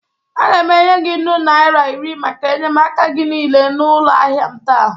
Aga m enye gị nnụ naịra iri maka enyemaka gị niile n'ụlọ ahịa m taa.